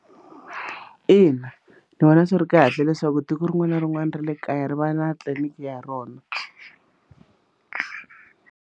Ina ndzi vona swi ri kahle leswaku tiko rin'wana na rin'wana ra le kaya ri va na tliliniki ya rona.